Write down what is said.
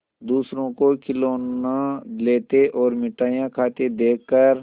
दूसरों को खिलौना लेते और मिठाई खाते देखकर